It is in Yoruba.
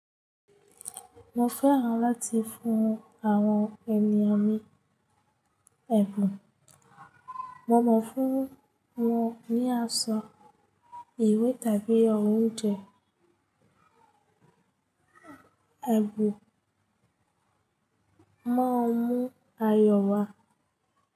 Mo fẹ́ràn láti fún àwọn ènìyàn mi ẹ̀bùn. Mo mọ fún wọn ní aṣọ, ìwé tàbí oúnjẹ. Ẹ̀bùn mo ń mú ayọ̀ wá.